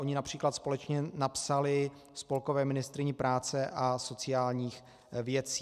Ony například společně napsaly spolkové ministryni práce a sociálních věcí.